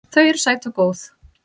Þau eru sæt og góð.